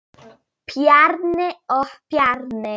Bjarni og Bjarni